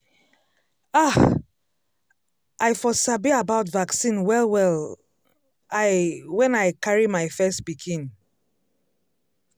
ah! i for sabi about vaccine welwell um l when i carry my first pikin.